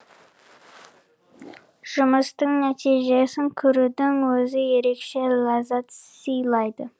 жұмыстың нәтижесін көрудің өзі ерекше ләззат сыйлайды